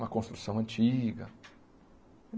Uma construção antiga.